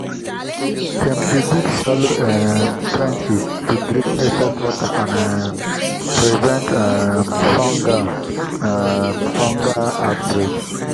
dem dey dig shallow um trenches to drain excess water and um prevent um fungal um fungal outbreaks.